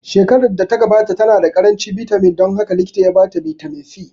Shekarar da ta gabata ta na da ƙaranci bitamin dan haka likitan ya ba ta bitamin C